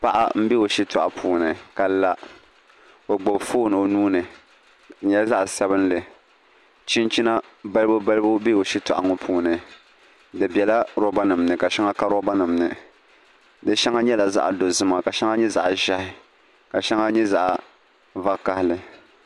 Paɣa n bɛ o shitoɣu puuni ka la o gbubi foon o nuuni di nyɛla zaɣ sabinli chinchina balibu balibu bɛ o shitoɣu ŋo puuni di biɛla roba nim ni ka shɛŋa ka eoba nim ni di shɛŋa nyɛla zaɣ dozima ka shɛŋa nyɛ zaɣ ʒiɛhi ka shɛŋa nyɛ zaɣ vakaɣali